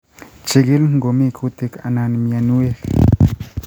chigil ngomi kutik anan mianwek